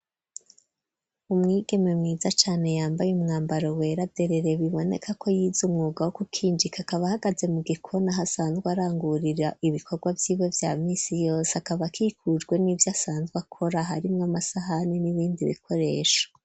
Umwigeme, mwiza cane, yambaye umwambaro, wera derere; biboneka ko, yize umwuga, wo gukinjika; akaba, ahagaze mu gikoni, aho asanzwe, arangurira ibikorwa, vyiwe vya minsi yose; akaba akikujwe, n'ivyo asanzwe akora, harimwo amasahani, n'ibindi bikoresho.